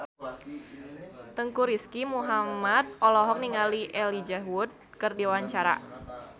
Teuku Rizky Muhammad olohok ningali Elijah Wood keur diwawancara